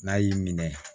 N'a y'i minɛ